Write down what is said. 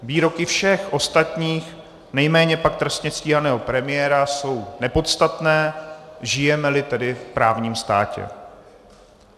Výroky všech ostatních, nejméně pak trestně stíhaného premiéra, jsou nepodstatné, žijeme-li tedy v právním státě.